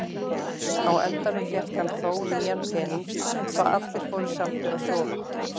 Á endanum fékk hann þó nýjan pening svo allir fóru sáttir að sofa.